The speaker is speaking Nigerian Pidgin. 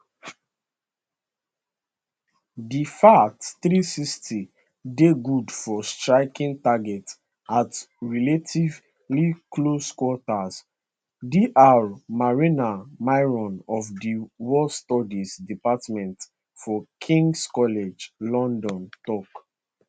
di fath360 dey good for striking targets at relatively close quarters dr marina miron of di war studies department for kings college london tok